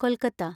Kolkata